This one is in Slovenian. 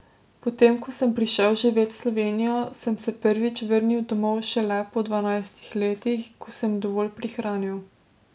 Potem ko sem prišel živet v Slovenijo, sem se prvič vrnil domov šele po dvanajstih letih, ko sem dovolj prihranil.